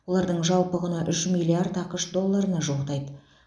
олардың жалпы құны үш миллиард ақш долларына жуықтайды